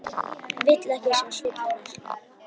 Vill ekki sjá svip hennar.